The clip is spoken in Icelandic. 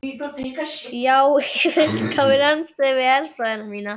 Já í fullkominni andstöðu við herfræði mína.